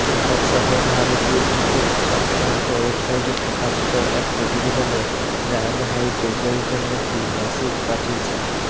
এক সর্বভারতীয় ক্রিকেট সংক্রান্ত ওয়েবসাইটে প্রকাশিত এক প্রতিবেদনে জানানো হয়েছে গৌতম নাকি মেসেজ পাঠিয়েছেন